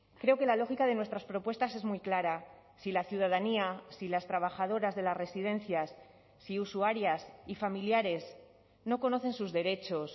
creo que la lógica de nuestras propuestas es muy clara si la ciudadanía si las trabajadoras de las residencias si usuarias y familiares no conocen sus derechos